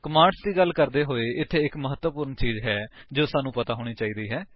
commands ਦੀ ਗੱਲ ਕਰਦੇ ਹੋਏ ਇਥੇ ਇੱਕ ਮਹੱਤਵਪੂਰਣ ਚੀਜ ਹੈ ਜੋ ਸਾਨੂੰ ਪਤਾ ਹੋਣੀ ਚਾਹੀਦੀ ਹੈ